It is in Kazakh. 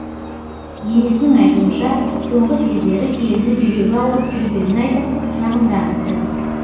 енесінің айтуынша соңғы кездері келіні жүрегі ауырып жүргенін айтып шағымданыпты